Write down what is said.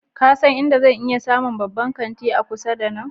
Ka san inda zan iya samun babban kanti a kusa da nan?